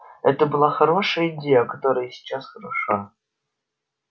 это была хорошая идея которая и сейчас хороша